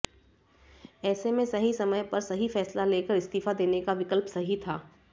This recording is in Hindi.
ऐसे में सही समय पर सही फैसला लेकर इस्तीफा देने का विकल्प सही था